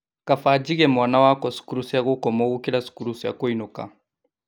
Kabaa njige mwana wakwa cukuru cia gũkomwo gũkĩra cukuru cia kũinũka